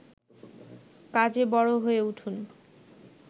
কাজে বড় হয়ে উঠুন